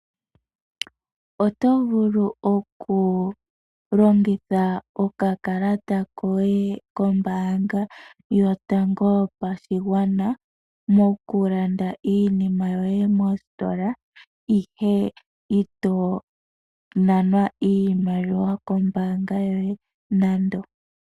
Oto vulu okulongitha okakalata koye kombaanga yotango yopashigwana mokulanda iinima yoye mositola ihe ito nanwa iimaliwa kombaanga yoye nando.